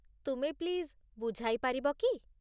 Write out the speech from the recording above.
ତୁମେ ପ୍ଲିଜ୍ ବୁଝାଇ ପାରିବ କି?